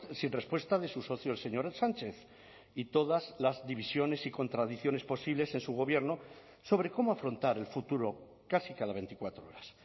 sin respuesta de su socio el señor sánchez y todas las divisiones y contradicciones posibles en su gobierno sobre cómo afrontar el futuro casi cada veinticuatro horas